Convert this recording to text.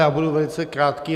Já budu velice krátký.